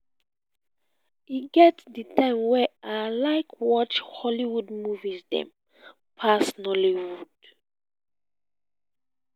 e get di time wen i like watch hollywood movie dem pass nollywood.